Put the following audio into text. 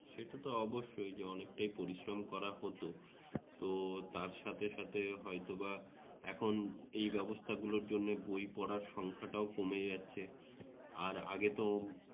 সেটা তো অবশ্যই যে অনেকটাই পরিশ্রম করা হত তো তার সাথে সাথে হয়তোবা এখন এই ব্যবস্থাগুলোর জন্য বই পড়ার সংখ্যাটাও কমে যাচ্ছে আর আগে তো